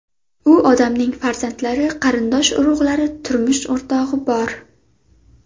U odamning farzandlari, qarindosh urug‘lari, turmush o‘rtog‘i bor.